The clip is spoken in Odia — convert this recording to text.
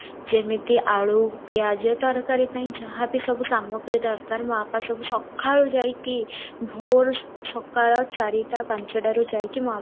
ଯେମିତି ଆଳୁ ପିଆଜ ତରକାରୀ ପାଇଁ ଯାହା ବି ସବୁ ସାମଗ୍ରୀ ଦରକାର ମୋ ବାପା ସବୁ ସଖାଳୁ ଯାଇକି ଭୋର ସଖାଳ ଚାରିଟା ପାଞ୍ଚାଟାରୁ ଯାଇକି ମୋ ବାପା